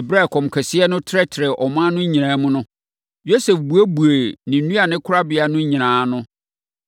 Ɛberɛ a ɛkɔm kɛseɛ no trɛtrɛɛ ɔman no nyinaa mu no, Yosef buebuee ne nnuane korabea no nyinaa ano,